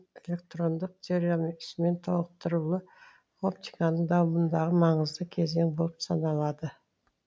электрондық теориясымен толықтырылуы оптиканың дамуындағы маңызды кезең болып саналады